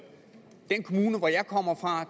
den kommune hvor jeg kommer fra